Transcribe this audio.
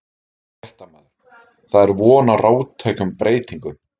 Fréttamaður: Það er von á róttækum breytingum?